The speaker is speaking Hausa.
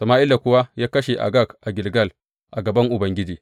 Sama’ila kuwa ya kashe Agag a Gilgal a gaban Ubangiji.